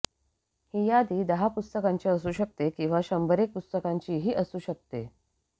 ही यादी दहा पुस्तकांची असू शकते किंवा शंभरेक पुस्तकांचीही असू शकते